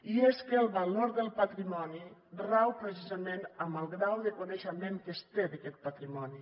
i és que el valor del patrimoni rau precisament en el grau de coneixement que es té d’aquest patrimoni